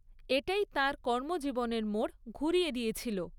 এটাই তাঁর কর্মজীবনের মোড় ঘুরিয়ে দিয়েছিল।